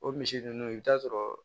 O misi nunnu i bi taa sɔrɔ